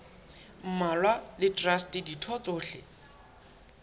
mmalwa le traste ditho tsohle